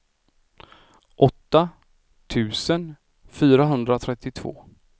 åtta tusen fyrahundratrettiotvå